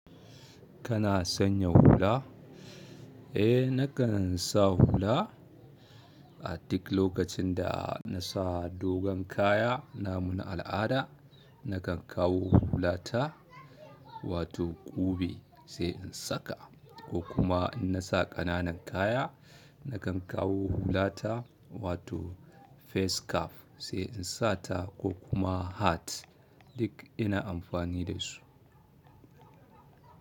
Kana sanya hula? Eh nakan sa hula. A duk lokacin da na sa dogon kaya namu na al'ada nakan kawo hulata. Wato ƙube sai in saka. Ko kuma in na sa ƙananan kaya nakan kawo hulata wato face cap sai in sata ko kuma hat duk ina amfani da su.